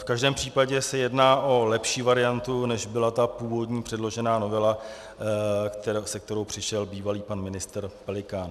V každém případě se jedná o lepší variantu, než byla ta původní předložená novela, se kterou přišel bývalý pan ministr Pelikán.